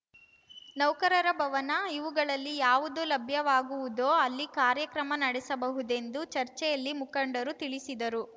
ನೌಕರರ ಭವನ ಇವುಗಳಲ್ಲಿ ಯಾವುದು ಲಭ್ಯವಾಗುವುದೋ ಅಲ್ಲಿ ಕಾರ್ಯಕ್ರಮ ನಡೆಸಬಹುದೆಂದು ಚರ್ಚೆಯಲ್ಲಿ ಮುಖಂಡರು ತಿಳಿಸಿದರು